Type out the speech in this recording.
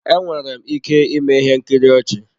Enwere m ike ịme ihe nkiri ọchị.